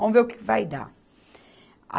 Vamos ver o que que vai dar.